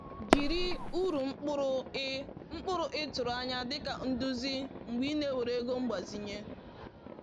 Jiri uru mkpụrụ ị mkpụrụ ị tụrụ anya dịka nduzi mgbe ị na-ewere ego mgbazinye.